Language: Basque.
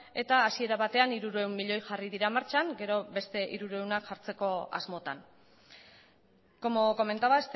eta hasiera batean hirurehun milioi jarri dira martxan gero beste hirurehunak jartzeko asmotan como comentaba